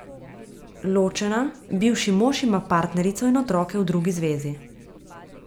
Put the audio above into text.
Ločena, bivši mož ima partnerico in otroke v drugi zvezi.